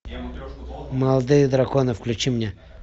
молодые драконы включи мне